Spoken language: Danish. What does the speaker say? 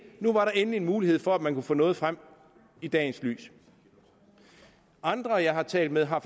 at nu var der endelig en mulighed for at man kunne få noget frem i dagens lys andre jeg har talt med har